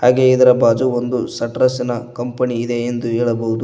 ಹಾಗೆ ಇದರ ಬಾಜು ಒಂದು ಶೆಟ್ರಾಸಿನ ಕಂಪನಿ ಇದೆ ಎಂದು ಹೇಳಬಹುದು.